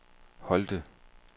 Holte